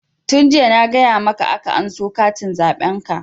Tun jiya na gaya maka aka anso katin zaɓen ka!